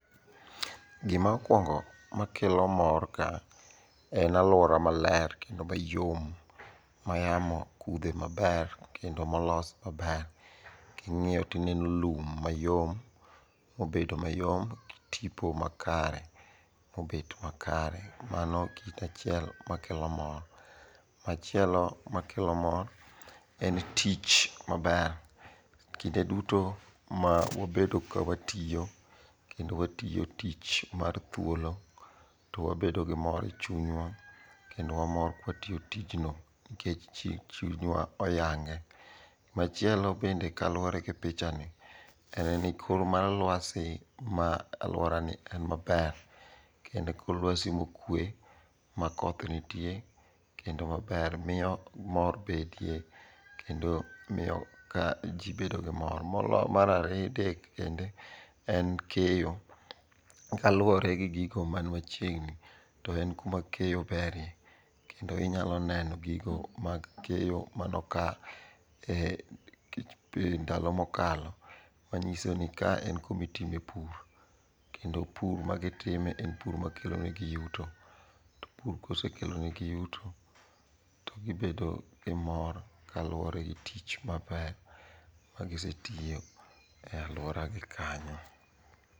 Gima okwongo makelo mor kae en alwora maler kendo mayom ma yamo kudhe maber kendo molos maber. King'iyo tineno lum mayom mobedo mayom gi tipo makare mobet makare. mano kit achiel makelo mor. Machielo makelo mor en tich maber. Kinde duto ma wabedo kawatiyo kendo watiyo tich mar thuolo to wabedo gi mor e chunywa kendo wamor kawatiyo tijno nikech chunywa oyange. Machielo bende kaluwore gi pichani, en ni kor mar lwasi ma alworani en maber, kendo en kor lwasi mokwe ma koth nitie kendo maber miyo mor betie kendo miyo ka ji bedo gi mor. Mar adek bende en keyo. Kaluwore gi gigo man machiegni, to en kuma keyo beryie kendo inyalo neno gigo mag keyo manokalo e ndalo mokalo manyiso ni ka en kumitime pur kendo pur magitimo en pur makelonegi yuto. To pur kosekelonegi yuto to gibedo gi mor kaluwore gi tich maber ma giseitiyo e alworagi kanyo.